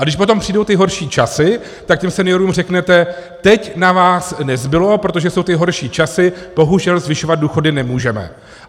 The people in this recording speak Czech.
A když potom přijdou ty horší časy, tak těm seniorům řeknete: teď na vás nezbylo, protože jsou ty horší časy, bohužel zvyšovat důchody nemůžeme.